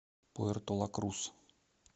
пуэрто ла крус